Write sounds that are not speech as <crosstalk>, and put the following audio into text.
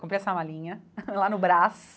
Comprei essa malinha <laughs> lá no Brás.